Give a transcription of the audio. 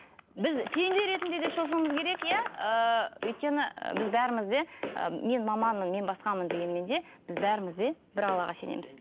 біз пенде ретінде де шошуымыз керек иә ыыы өйткені біз бәріміз де ы мен маманмын мен басқамын дегенмен де біз бәріміз де бір аллаға сенеміз